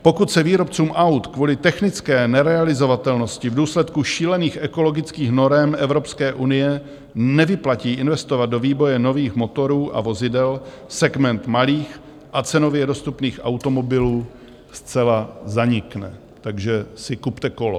Pokud se výrobcům aut kvůli technické nerealizovatelnosti v důsledku šílených ekologických norem Evropské unie nevyplatí investovat do vývoje nových motorů a vozidel, segment malých a cenově dostupných automobilů zcela zanikne, takže si kupte kolo.